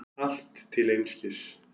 Allt til einskis.